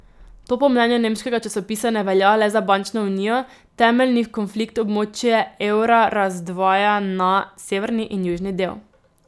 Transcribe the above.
To po mnenju nemškega časopisa ne velja le za bančno unijo, temeljni konflikt območje evra razdvaja na severni in južni del.